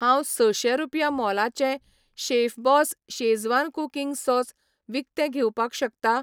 हांव सशे रुपया मोलाचें शेफबॉस शेझवान कुकिंग सॉस विकतें घेवपाक शकता